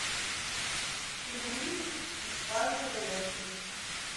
пельмени из фарша говядины